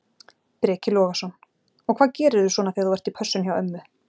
Breki Logason: Og hvað gerirðu svona þegar þú ert í pössun hjá ömmu?